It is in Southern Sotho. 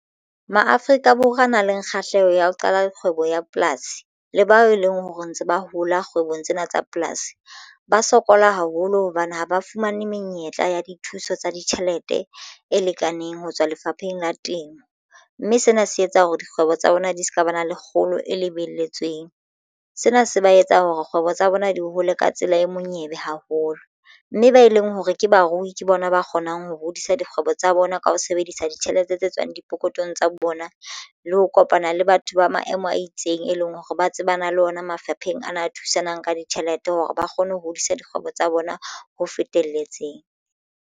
Maafrika Borwa a nang le kgahleho ya ho qala kgwebo ya polasi le bao e leng hore ntse ba hola kgwebong tsena tsa polasi ba sokola haholo hobane ha ba fumane menyetla ya dithuso tsa ditjhelete e lekaneng ho tswa lefapheng la temo mme sena se ba etsa hore dikgwebo tsa bona di se ka ba na le kgolo e lebelletsweng sena se ba etsa hore kgwebo tsa bona di hole ka tsela e monyebe haholo mme ba e leng hore ke barui ke bona ba kgonang ho hodisa dikgwebo tsa bona ka ho sebedisa ditjhelete tse tswang dipokothong tsa bona le ho kopana le batho ba maemo a itseng e leng hore ba tsebana le ona mafapheng a na ba thusanang ka ditjhelete hore ba kgone ho hodisa dikgwebo tsa bona ho fetelletseng.